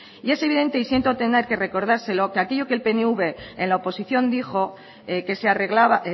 y es evidente y siento tener que recordárselo que aquello que el pnv en la oposición dijo que se arreglaba